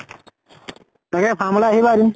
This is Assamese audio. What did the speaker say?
তাকে farm লৈ আহিবা এদিন।